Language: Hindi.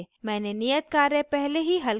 मैंने नियतकार्य पहले ही हल कर दिया है